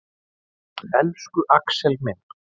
Elsku Axel minn.